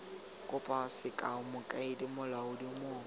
kopo sekao mokaedi molaodi mong